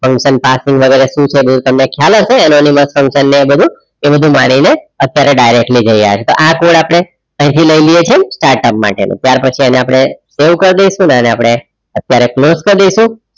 function passing વગેરે તમને બધુ ખ્યાલ હશે અને એની માય function એ બધું એ બધું મારે એને અત્યારે એને directly કઈ તો આ કોડ આપણે અહીંથી લઇ લે છે startup ત્યાર પછી એને આપણે સેવ કર દેશું અને એને આપણે correct notes કર દઈશું